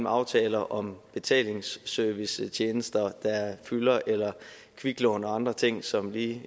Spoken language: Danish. aftaler om betalingsservicetjenester der fylder eller kviklån og andre ting som lige